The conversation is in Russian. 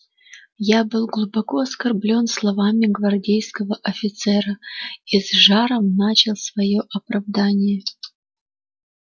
я был глубоко оскорблён словами гвардейского офицера и с жаром начал своё оправдание